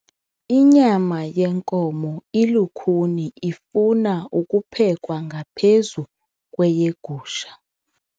Inyama yenkomo ilukhuni ifuna ukuphekwa ngaphezu kweyegusha.